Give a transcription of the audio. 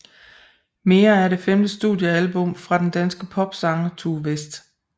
Mere er det femte studiealbum fra den danske popsanger Tue West